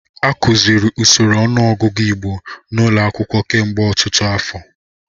A kụziri usoro ọnụọgụgụ Igbo n'ụlọ akwụkwọ kemgbe ọtụtụ afọ.